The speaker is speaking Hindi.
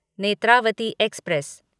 नेत्रावती एक्सप्रेस